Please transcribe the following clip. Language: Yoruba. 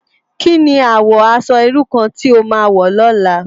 Ki ni àwò aṣò irú kàn ti ó má wò lòlá?